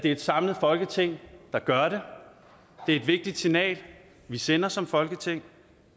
er et samlet folketing der gør det er et vigtigt signal vi sender som folketing